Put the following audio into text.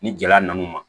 Ni gɛlɛya nana u ma